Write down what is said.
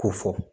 K'o fɔ